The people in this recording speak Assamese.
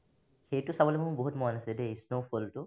সেইটো চাবলৈ মোৰ বহুত মন আছে দেই snow fall টো